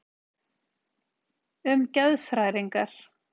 Um geðshræringar.